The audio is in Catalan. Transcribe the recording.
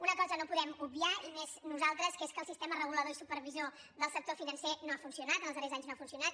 una cosa no podem obviar i més nosaltres que és que el sistema regulador i supervisor del sector financer no ha funcionat en els darrers anys no ha funcionat